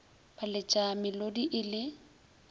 ba letša melodi e le